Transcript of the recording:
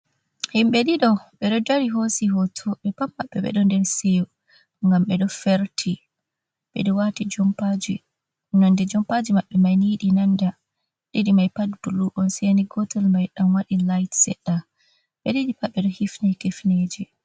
Himɓe ɗiɗo ɓeɗo dari hosi hoto. Ɓe pat maɓɓe ɓe ɗo nder seyo, ngam ɓeɗo ferti. Ɓeɗo wati jampaji, nonde jompaji maɓɓe mai yiɗi nanda. Ɗiɗi mai pat ni bulu on seni gootel may ɗan waɗi lit seɗɗa. Ɓe ɗiɗi pat ɓeɗo hifini kifineje.